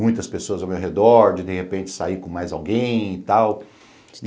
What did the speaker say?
Muitas pessoas ao meu redor, de de repente sair com mais alguém e tal.